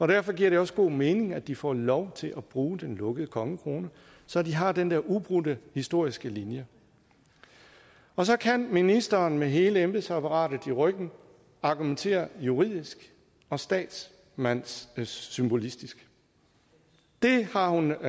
derfor giver det også god mening at de får lov til at bruge den lukkede kongekrone så de har den der ubrudte historiske linje og så kan ministeren med hele embedsapparatet i ryggen argumentere juridisk og statsmandssymbolistisk det har hun